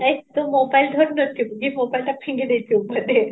ଏକ୍ ତୁ mobile ଧରି ରଖିଥିବୁ କି mobile ଟା ଫିଙ୍ଗି ଦେଇଥିବୁ ବୋଧେ